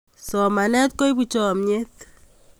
Somanet koipu chomyet